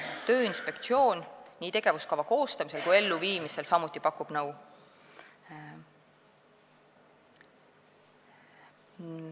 Tööinspektsioon pakub nii tegevuskava koostamisel kui ka elluviimisel samuti nõu.